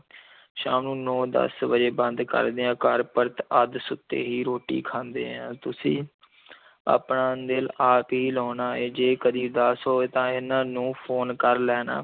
ਸ਼ਾਮ ਨੂੰ ਨੌਂ ਦਸ ਵਜੇ ਬੰਦ ਕਰਦੇ ਆਂ, ਘਰ ਪਰਤ ਅੱਧ-ਸੁੱਤੇ ਹੀ ਰੋਟੀ ਖਾਂਦੇ ਆਂ, ਤੁਸੀਂ ਆਪਣਾ ਦਿਲ ਆਪ ਹੀ ਲਾਉਣਾ ਹੈ, ਜੇ ਕਦੀ ਉਦਾਸ ਹੋਏ ਤਾਂ ਇਹਨਾਂ ਨੂੰ phone ਕਰ ਲੈਣਾ।